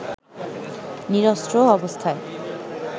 নিরস্ত্র অবস্থায়